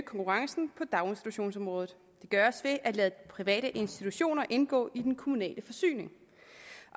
konkurrencen på daginstitutionsområdet det gøres ved at lade private institutioner indgå i den kommunale forsyning